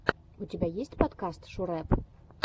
у тебя есть подкаст шурэп